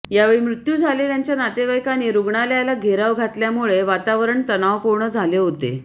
यावेळी मृत्यू झालेल्याच्या नातेवाईकांनी रुग्णालयाला घेराव घातल्यामुळे वातावरण तणावपूर्ण झाले होते